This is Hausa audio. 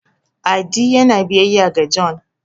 adi yana biyayya ga John